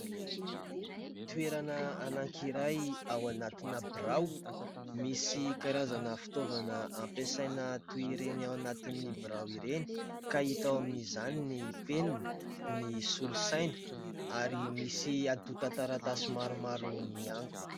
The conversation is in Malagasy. Toerana anakiray ao anatina birao, misy karazana fitaovana ampiasaina toy ireny ao anatin'ny birao ireny ka hita ao amin'izany : ny penina, ny solosaina ary misy antotan-taratasy maromaro miangona.